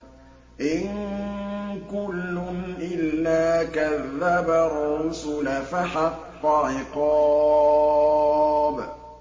إِن كُلٌّ إِلَّا كَذَّبَ الرُّسُلَ فَحَقَّ عِقَابِ